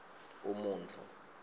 umuntfu